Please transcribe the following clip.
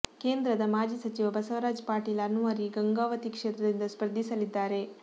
ಕೇಂದ್ರದ ಮಾಜಿ ಸಚಿವ ಬಸವರಾಜ್ ಪಾಟೀಲ ಅನ್ವರಿ ಗಂಗಾವತಿ ಕ್ಷೇತ್ರದಿಂದ ಸ್ಪರ್ಧಿಸಲಿದ್ದಾರೆ